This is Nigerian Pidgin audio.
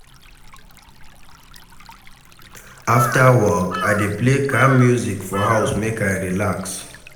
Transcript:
Afta work, I dey play calm music for house make I relax.